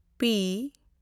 P